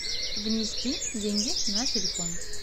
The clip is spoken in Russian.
внести деньги на телефон